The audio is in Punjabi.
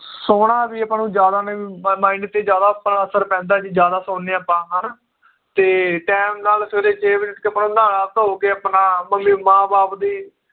ਸੋਨਾ ਵੀ ਆਪਾਂ ਨੂੰ ਜ਼ਿਆਦਾ ਨਈ ਵੀ mind ਤੇ ਜ਼ਿਆਦਾ ਆਪਣਾ ਅਸਰ ਪੈਂਦਾ ਜੇ ਜ਼ਿਆਦਾ ਸੋਂਨੇ ਆਪਾਂ ਹ ਨਾ ਤੇ time ਨਾਲ ਸਵੇਰੇ ਛੇ ਵਜੇ ਉੱਠ ਕੇ ਆਪਣਾ ਨਹਾ ਧੋ ਕੇ ਆਪਣਾ ਮੰਮੀ ਮਾਂ ਬਾਪ ਦੀ